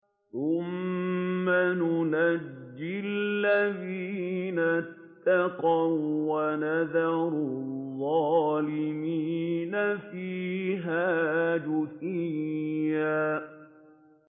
ثُمَّ نُنَجِّي الَّذِينَ اتَّقَوا وَّنَذَرُ الظَّالِمِينَ فِيهَا جِثِيًّا